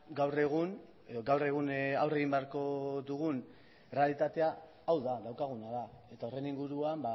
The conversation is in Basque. gaur egun edo gaur egun aurre egin beharko dugun errealitatea hau da daukaguna da eta horren inguruan